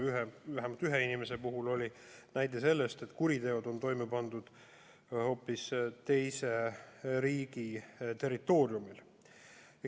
Vähemalt ühe inimese puhul oli näide, et kuriteod on toime pandud hoopis teise riigi territooriumil.